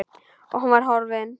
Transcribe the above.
Og hún var horfin.